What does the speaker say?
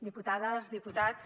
diputades diputats